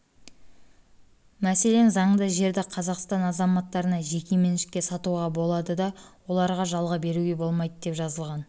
мәселен заңда жерді қазақстан азаматтарына жеке меншікке сатуға болады да оларға жалға беруге болмайды деп жазылған